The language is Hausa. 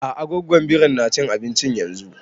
A'a gwaggon birin na cin abinci yanzun